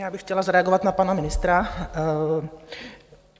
Já bych chtěla zareagovat na pana ministra.